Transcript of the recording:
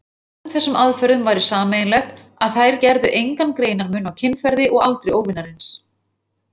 Báðum þessum aðferðum væri sameiginlegt, að þær gerðu engan greinarmun á kynferði og aldri óvinarins.